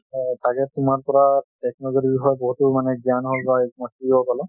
অ তাকে তোমাৰ পৰা technology ৰ বিষয় বহুতো মানে জ্ঞান হওক বা এ শিকিব পালো।